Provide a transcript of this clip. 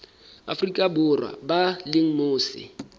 afrika borwa ba leng mose